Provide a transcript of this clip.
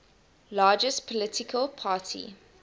largest political party